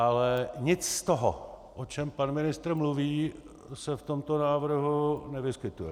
Ale nic z toho, o čem pan ministr mluví, se v tomto návrhu nevyskytuje.